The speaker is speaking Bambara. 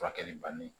Furakɛli banni